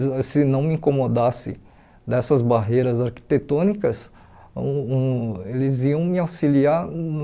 Se não me incomodasse dessas barreiras arquitetônicas, hum hum eles iam me auxiliar no...